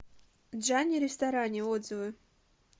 джани ресторани отзывы